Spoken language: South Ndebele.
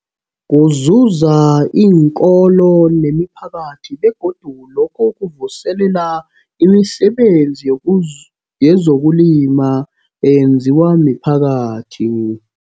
Kuzuzisa iinkolo nemiphakathi begodu lokhu kuvuselela imisebenzi yezokulima eyenziwa miphakathi.